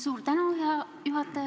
Suur tänu, hea juhataja!